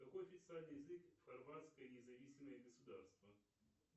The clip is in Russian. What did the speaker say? какой официальный язык в хорватское независимое государство